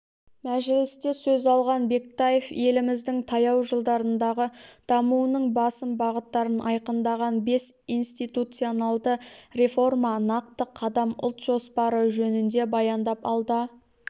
мәжілісте сөз алған бектаев еліміздің таяу жылдардағы дамуының басым бағыттарын айқындаған бес институционалды реформа нақты қадам ұлт жоспары жөнінде баяндап алда